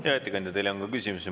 Hea ettekandja, teile on ka küsimusi.